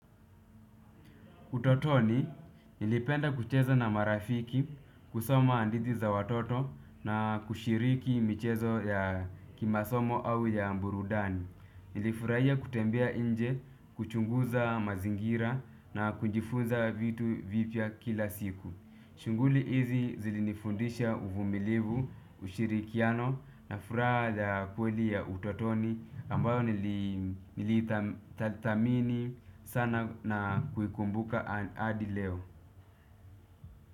Utotoni, nilipenda kucheza na marafiki, kusoma hadithi za watoto na kushiriki michezo ya kimasomo au ya burudani. Nilifurahia kutembea nje, kuchunguza mazingira na kujifunza vitu vipya kila siku. Shughuli hizi zilinifundisha uvumilivu, ushirikiano na furaha ya kweli ya utotoni ambayo nilithamini sana na kuikumbuka hadi leo.